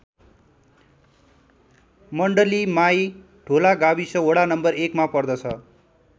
मण्डली माई ढोला गाविस वडा नं १ मा पर्दछ।